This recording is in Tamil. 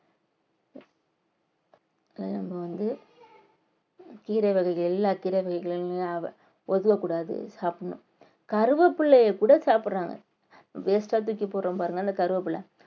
நம்ம வந்து கீரை வகைகள் எல்லா கீரை வகைகளையும் ஒதுவக்கூடாது சாப்பிடணும். கருவேப்பிலையைக் கூட சாப்பிடுறாங்க waste ஆ தூக்கி போடுறோம் பாருங்க அந்த கறிவேப்பிலை.